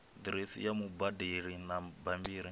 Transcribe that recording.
diresi ya mubadeli na bambiri